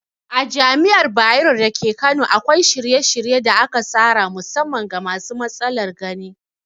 A Jami'ar Bayero dake Kano akwai shirye-shirye da aka tsara musamman ga masu matsalar gani.